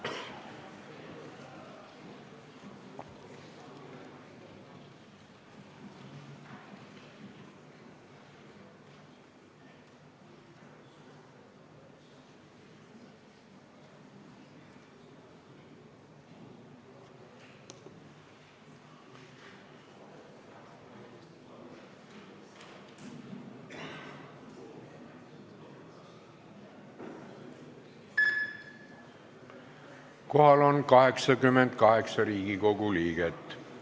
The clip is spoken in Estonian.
Kohaloleku kontroll Kohal on 88 Riigikogu liiget.